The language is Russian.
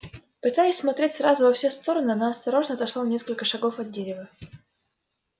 пытаясь смотреть сразу во все стороны она осторожно отошла на несколько шагов от дерева